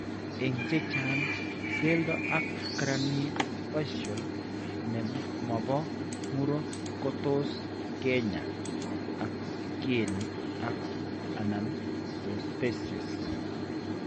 Eng' chechang', keldo ak craniofacial ne mopo muro ko tos kenyaa ak keeny' ak/anan prostheses.